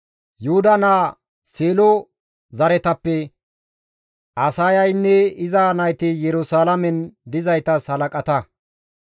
Yuhuda naa Seelo zaretappe Asaayaynne iza nayti Yerusalaamen dizaytas halaqata.